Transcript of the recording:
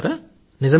భావిస్తున్నారా